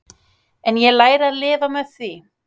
En ég læri að lifa með því.